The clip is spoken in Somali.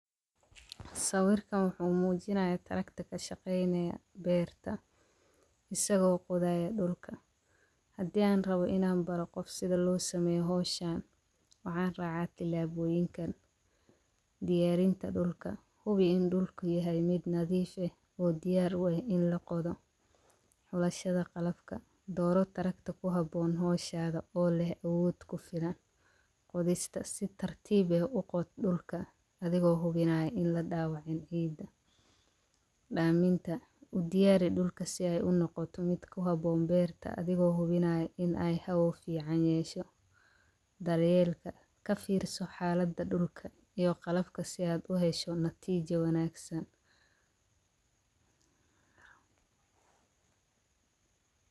Saawirka wuxuu muujinaya tarakada shaqeyneya beerta. Isaga waqooyiga dhulka haddii aan rabo inaan baro qof sida loo sameyo hooshaan. Wacan raacaati laabooyinkan diyaarinta dhulka hubi in dhulku yahay mid nadiif ah oo diyaar wayn in la qodo xulashada qallafka. Doorato taragto ku habboon hoshada oo leh awood ku filan qodista. Si tartiib eh u qood dhulka adigoo hubinayo in la dhaawacin iida. Dhaaminta u diyaari dhulka si ay u noqoto mid ku habboon beerta adigoo hubinayo in ay how fiicanyeesho. Daryeellika. Ka fiirso xaaladda dhulka iyo qallafka si aad u hesho natiijo wanaagsan.